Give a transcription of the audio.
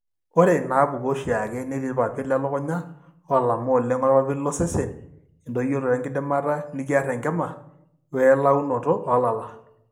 Ore inaapuku eoshiake netii irpapit lelukunya oolama oleng orpapit losesen, endoyioroto enkidimata nikiar enkima, oelaunoto oolala.